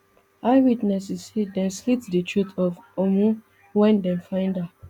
eyewitnesses say dem slit di throat of ummu wen dem find her